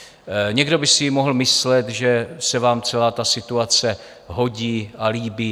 Někdo by si mohl myslet, že se vám celá ta situace hodí a líbí.